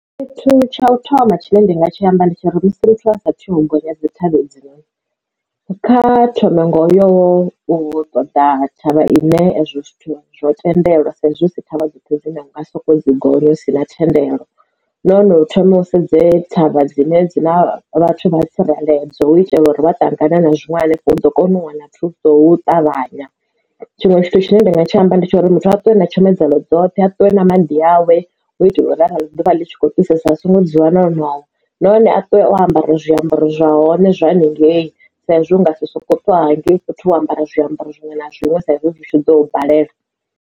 Tshithu tsha u thoma tshine ndanga tshi amba ndi tsha uri sa muthu a saathu gonya dzi thavha hedzinoni, kha thome ngo yo u ṱoḓa thavha ine hezwo zwithu zwo tendelwa saizwi hu si thavha dzoṱhe dzine na nga soko dzi gonya hu si na thendelo. Nahone no thoma u sedze thavha dzine dzi ḽa vhathu vha tsireledzo u itela uri vha ṱangana na zwiṅwe u ḓo kona u wana thuso u ṱavhanya. Tshiṅwe tshithu tshine nda nga tshi amba ndi tsha uri muthu a ṱwe na tshomedzo dzoṱhe a ṱuwe na maḓi awe u u itela uri arali ḓuvha ḽi tshi khou fhisesa a songo dzula na ngoho nahone a tea u ambara zwiambaro zwa hone zwa haningei saizwi usi nga soko ṱwa hangei fhethu wo ambara zwiambaro zwiṅwe na zwiṅwe saizwi hu tshi ḓo balela.